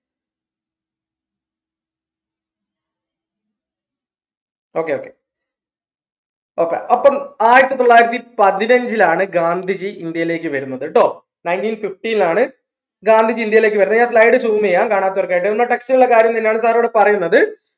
okay okay okay അപ്പം ആയിരത്തി തൊള്ളായിരത്തി പതിനഞ്ചിലാണ് ഗാന്ധിജി ഇന്ത്യയിലേക്ക് വെരുന്നത് ട്ടോ nineteen fifteen ലാണ് ഗാന്ധിജി ഇന്ത്യയിലേക്ക് വെരുന്നത് ഞാൻ slide zoom എയ്യാം കാണാത്തവർക്കായിട്ട് നമ്മളെ text ലിള്ള കാര്യം തന്നെയാണ് sir ഇവിടെ പറയിന്നത്